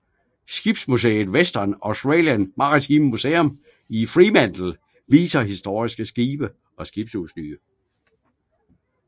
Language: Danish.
Skibsmuseet Western Australian Maritime Museum i Fremantle viser historiske skibe og skibsudstyr